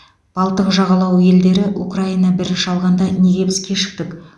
балтық жағалауы елдері украина бірінші алғанда неге біз кешіктік